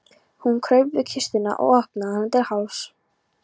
Hún kraup við kistuna og opnaði hana til hálfs.